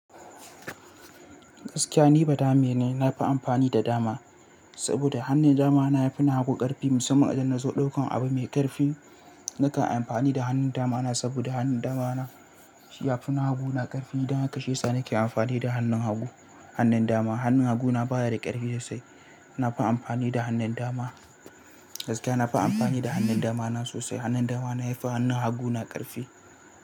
Gaskiya ni badame ne, na fi amfani da dama saboda hannun dama na yafi na hagu karfi. Musamman idan na zo ɗaukan abu mai ƙarfi nakan amfani da hannun dama na saboda hannun dama na ya fi na hagu na ƙarfi. Dan haka shi yasa nake amfani da hannun hagu, hannun dama. Hannun hagu na baya da ƙarfi sosai. Na fi amfani da hannun dama. Gaskiya na fi amfani da hannun dama na sosai. Hannun dama na ya fi hannun hagu na ƙarfi.